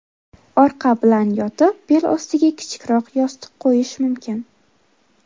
Orqa bilan yotib, bel ostiga kichikroq yostiq qo‘yish mumkin.